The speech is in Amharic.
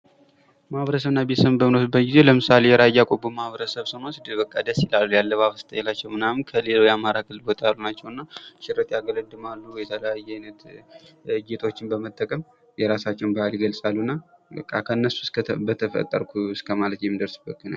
ማህበረሰብ እና ቤተሰብን በምናይበት ጊዜ ለምሳሌ ሬያ ቆቦን ማህበረሰብ ስንወስድ በቃ ደስ ይላሉ። የአለባበስ ስታይላቸዉ ከሌላዉ አማራ ክልል ሽርጥ ያገለድማሉ። የተለያዩ ጌጦችን በመጠቀም በዓል ይገልፃሉ። እና ከእነሱስ በተፈጠርሁ እስከማለት የምደርስበት ነዉ።